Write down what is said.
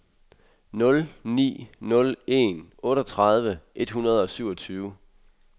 nul ni nul en otteogtredive et hundrede og syvogtyve